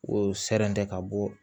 O sɛn tɛ ka bɔ